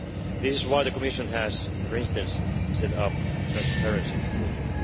That is why the Commission has, for instance, set up the transparency portal.